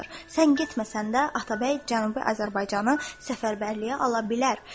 Sən getməsən də Atabəy Cənubi Azərbaycanı səfərbərliyə ala bilər.